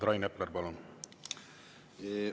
Rain Epler, palun!